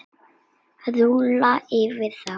Rúlla yfir þá!